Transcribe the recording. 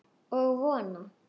Og vona.